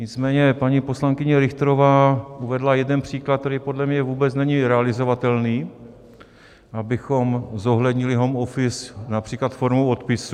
Nicméně paní poslankyně Richterová uvedla jeden příklad, který podle mě vůbec není realizovatelný, abychom zohlednili home office například formou odpisů.